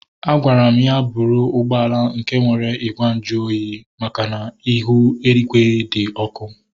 A gwara m ya bụrụ ụgbọala nke nwere igwe nju ahụ oyi makana ihu igwe di ọkụ